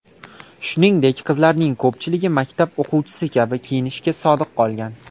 Shuningdek, qizlarning ko‘pchiligi maktab o‘quvchisi kabi kiyinishga sodiq qolgan.